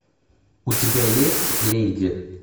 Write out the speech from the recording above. у тебя есть леди